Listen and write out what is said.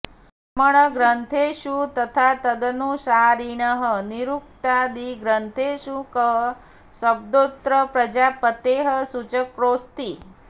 ब्राह्मणग्रन्थेषु तथा तदनुसारिणः निरुक्तादिग्रन्थेषु कः शब्दोऽत्र प्रजापतेः सूचकोऽस्ति